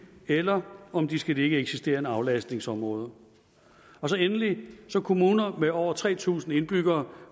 eller om de skal ligge i et eksisterende aflastningsområde endelig får kommuner med over tre tusind indbyggere